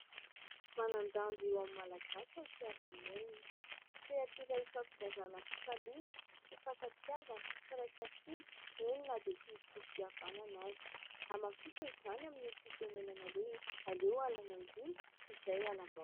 Manan-danja eo amin'ny Malagasy ny fiaraha-monina. Sehatra iray hifampizarana fifaliana, fifankatiavana, firaisan-kina eny na dia tsy misy rohim-pihavanana aza. Hamafisina izany amin'ny oham-pitenenana hoe : "Aleo halan'Andriana toy izay halam-bah".